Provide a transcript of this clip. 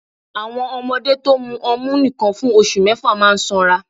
Àwọn ọmọdé to mu ọmú nìkan fún oṣù mẹ́fà máa sanra